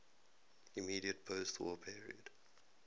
immediate postwar period